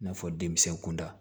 I n'a fɔ denmisɛn kunda